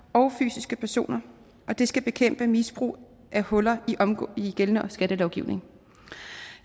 og fysiske personer og det skal bekæmpe misbrug af huller i gældende skattelovgivning